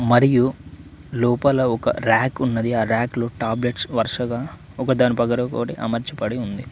మరియు లోపల ఒక ర్యాక్ ఉన్నది ఆ రాక్లో టాబ్లెట్స్ వరుసగా ఒకదాని పక్కన ఒకటి అమర్చి పడి ఉంది.